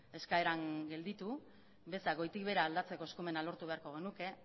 eskaeran gelditu bezak goitik behera aldatzeko eskumena lortu beharko genuke